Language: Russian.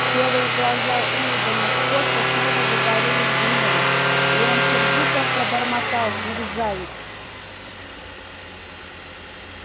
серые глаза уидона скотта снова загорелись гневом и он сердито пробормотал мерзавец